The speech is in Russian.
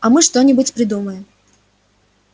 а мы что-нибудь придумаем